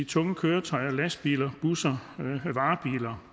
tunge køretøjer lastbiler busser varebiler